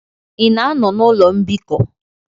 Ị na-anọ na ụlọ mbikọ?